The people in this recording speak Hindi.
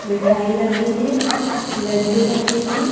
मिठाई रखी है लड्डू रखे हैं।